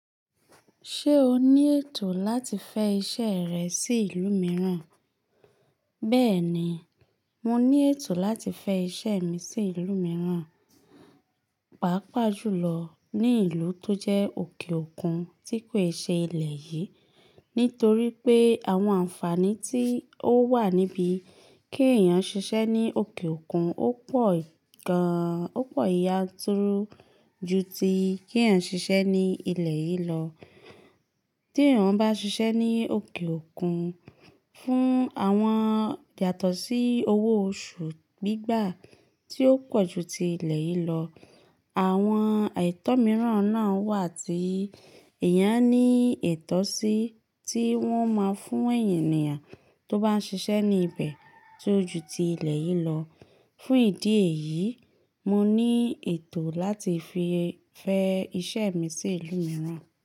Ṣé o ní ètò láti fẹ iṣẹ rẹ sí ìlú mìíràn? Bẹ́ẹ̀ni, mo ní ètò láti fẹ iṣẹ́ mi sí ìlú mìíràn, pàápàá jùlọ ní ìlú tó jẹ́ òkè òkun tí kòi ṣe ilẹ̀ yìí, nítorí pé àwọn ànfàní tí ó wà níbí kí ẹ̀yàn ṣiṣẹ́ ní òkè òkun ó pọ̀ gan-an, ó pọ̀ yánturu ju tí kí ẹ̀yàn ṣiṣẹ́ ní ilẹ̀ yìí lọ. Tí èèyàn bá ṣiṣẹ́ ní òkè òkun, fún àwọn yàtọ̀ sí owó oṣù gbígbà tí ó pọ̀ ju ti ilẹ̀ yìí lọ, àwọn etọ̀ mìíràn náà wà tí ẹ̀yàn ní ìtọ́ sí tí wọ́n máa ń fún ènìyàn tó bá ń ṣiṣẹ́ ní ibẹ̀ tí ó ju ti ilẹ̀ yìí lọ. Fún ìdí èyí, mo ní ètò láti fi fẹ iṣẹ́ mi sí ìlú mìíràn.